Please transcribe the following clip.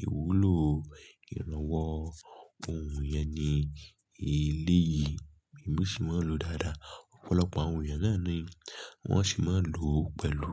Ìwúlò ìrànwọ́ ohùn yẹn ni eléyìí èmi sì máa ń lò ó dáadáa. Ọ̀pọ̀lọpọ̀ àwọn èèyàn náà ni wọ́n sì máa ń lò ó pẹ̀lú.